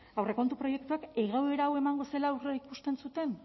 aurrekontu proiektuak egoera hau emango zela aurreikusten zuten